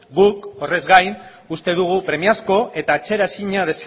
guk horrez gain uste dugu premiazko eta atzera ezina